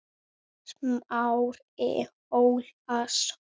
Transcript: Smári Ólason.